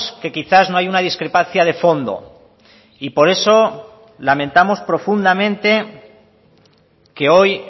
que quizás no hay una discrepancia de fondo y por eso lamentamos profundamente que hoy